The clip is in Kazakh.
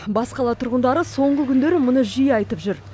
бас қала тұрғындары соңғы күндері мұны жиі айтып жүр